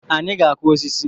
Anyị ga-akụ osisi